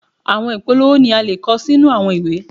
Àwọn ìpolówó ni a le kọ sínú àwọn ìwé.